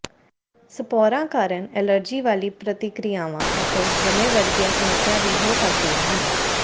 ਸਪੌਰਾਂ ਕਾਰਨ ਐਲਰਜੀ ਵਾਲੀਆਂ ਪ੍ਰਤੀਕ੍ਰਿਆਵਾਂ ਅਤੇ ਦਮੇ ਵਰਗੀਆਂ ਸਮੱਸਿਆਵਾਂ ਵੀ ਹੋ ਸਕਦੀਆਂ ਹਨ